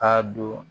K'a don